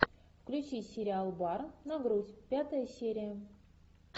включи сериал бар на грудь пятая серия